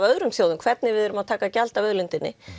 öðrum þjóðum hvernig við erum að taka gjald af auðlindinni